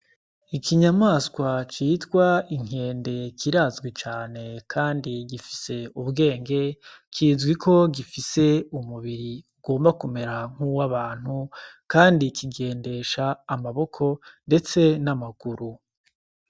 Ikinyamaswa citwa inkende kirazwi cane, kandi gifise ubwenge kizwi ko gifise umubiri ugomba kumera nk'uwe abantu, kandi ikigendesha amaboko, ndetse n'amaguru.